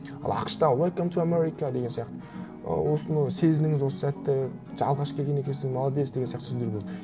ал ақш та уэлком ту америка деген сияқты ы осыны сезініңіз осы сәтті алғаш келген екенсің молодец деген сияқты түсіндіру болды